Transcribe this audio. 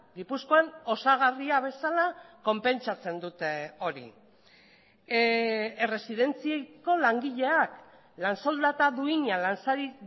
gipuzkoan osagarria bezala konpentsatzen dute hori erresidentziko langileak lan soldata duina lan sari